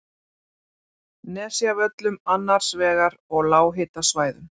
Nesjavöllum annars vegar og lághitasvæðum